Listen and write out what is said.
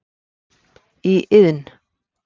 í iðn.